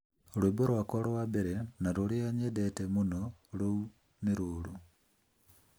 Rwĩmbo rwakwa rwa mbere na rũrĩa nyendete mũno rũu nĩ rũru